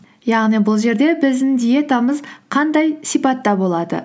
яғни бұл жерде біздің диетамыз қандай сипатта болады